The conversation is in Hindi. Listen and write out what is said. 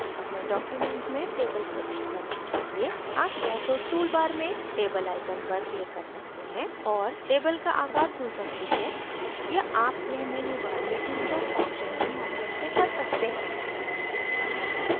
अपने document में table प्रविष्ट करने के लिए आप या तो toolbar में table icon पर click कर सकते हैं और table का आकार चुन सकते हैं या आप यह मेन्यूबार में insert option के माध्यम से कर सकते हैं